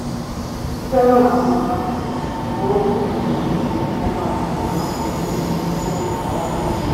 ó fẹ́ràn àwọn ìbáṣepọ̀ tó nítumọ̀ ju kí ó máa fi àwọn àṣeyọrí rẹ̀ hàn fún aráyé rí lọ